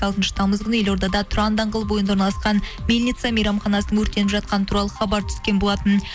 алтыншы тамыз күні елордада тұран даңғылы бойында орналасқан мельница мейрамханасының өртеніп жатқаны туралы хабар түскен болатын